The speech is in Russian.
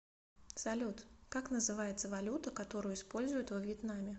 салют как называется валюта которую используют во вьетнаме